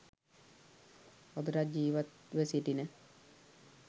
අදටත් ජීවත්ව සිටින